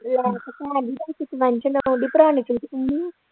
ਲੈ ਤੇ ਭੈਣ ਜੀ ਤੁਸੀਂ ਭਰਾ ਨੇ